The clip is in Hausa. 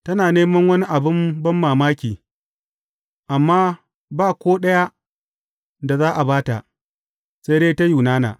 Tana neman wani abin banmamaki, amma ba ko ɗaya da za a ba ta, sai dai ta Yunana.